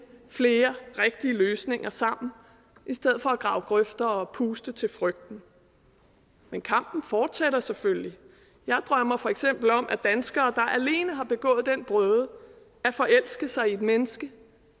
flere rigtige løsninger sammen i stedet for at grave grøfter og puste til frygten men kampen fortsætter selvfølgelig og jeg drømmer for eksempel om at danskere alene har begået den brøde at forelske sig i et menneske